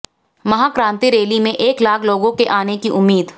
महाक्रांति rally में एक लाख लोगों के आने की उम्मीद